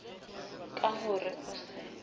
ka ho re o se